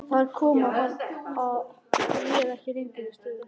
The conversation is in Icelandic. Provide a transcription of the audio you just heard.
Þar kom að hann réð ekki lengur við stöðuna.